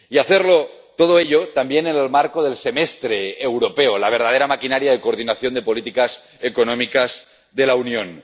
Y hacerlo todo ello también en el marco del Semestre Europeo, la verdadera maquinaria de coordinación de políticas económicas de la Unión.